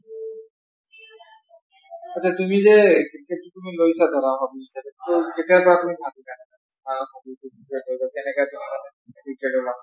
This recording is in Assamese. আচ্চা তুমি যে ক্ৰিকেট টো তুমি লৈছা ধৰা hobby হিচাপে টো কেতিয়াৰ পৰা তুমি ভাবিলো অ hobby টো কেনকে তুমি মানে addicted হলা ?